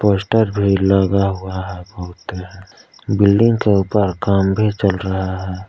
Poster भी लगा हुआ है बहुत बिल्डिंग के ऊपर काम भी चल रहा है।